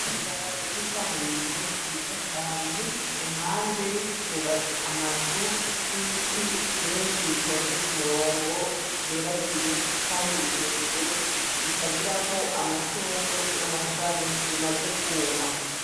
Ibarabara ry'ikaburimbu ryiza cane ku mpande bubatse amazu n'ibiti vyinshi bitonze ku murongo biteragiye, kandi birebire bitagira ko amashurwe n'amashami bimaze kwuma.